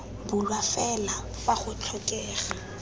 bulwa fela fa go tlhokega